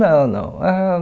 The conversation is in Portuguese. Não, não. Ãh